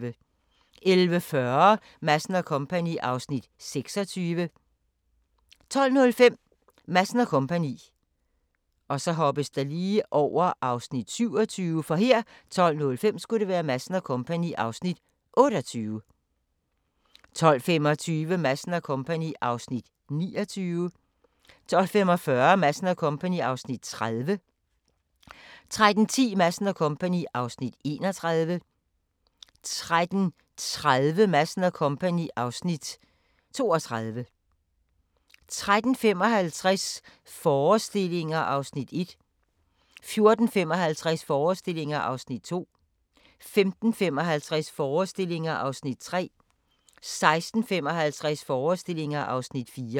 11:40: Madsen & Co. (Afs. 26) 12:05: Madsen & Co. (Afs. 28) 12:25: Madsen & Co. (Afs. 29) 12:45: Madsen & Co. (Afs. 30) 13:10: Madsen & Co. (Afs. 31) 13:30: Madsen & Co. (Afs. 32) 13:55: Forestillinger (Afs. 1) 14:55: Forestillinger (Afs. 2) 15:55: Forestillinger (Afs. 3) 16:55: Forestillinger (Afs. 4)